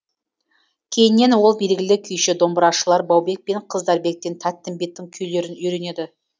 кейіннен ол белгілі күйші домбырашылар баубек пен қыздарбектен тәттімбеттің күйлерін үйренеді